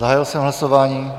Zahájil jsem hlasování.